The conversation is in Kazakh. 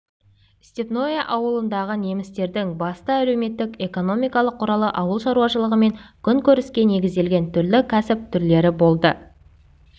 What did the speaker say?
степное ауылындағы немістердің басты әлеуметтік-экономикалық құралы ауыл шаруашылығы мен күнкөріске негізделген түрлі кәсіп түрлері болды